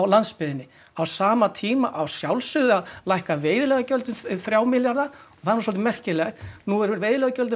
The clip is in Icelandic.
landsbyggðinni á sama tíma á að sjálfsögðu að lækka veiðileyfagjöld um þrjá milljarða og það er nú svolítið merkilegt nú eru veiðileyfagjöldin